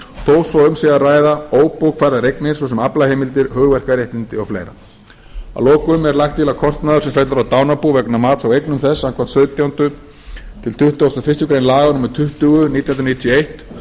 þó svo að um sé ræða óbókfærðar eignir svo sem aflaheimildir hugverkaréttindi og fleiri að lokum er lagt til að kostnaður sem fellur á dánarbú vegna mats á eignum þess samkvæmt sautjánda til tuttugasta og fyrstu grein laga númer tuttugu nítján hundruð níutíu og eitt